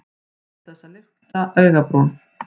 Án þess að lyfta augabrún.